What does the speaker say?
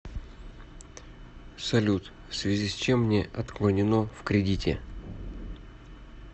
салют в связи с чем мне отклонено в кредите